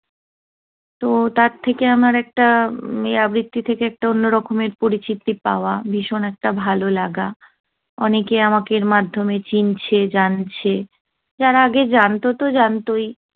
তো তার থেকে আমার একটা, উহ এই আবৃত্তি থেকে একটা অন্যরকমের পরিচিতি পাওয়া। ভীষণ একটা ভাললাগা। অনেকে আমাকে এর মাধ্যমে চিনছে, জানছে। যারা আগে জানত তো জানতোই।